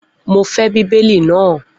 Mo fẹ́ Bíbélì náà.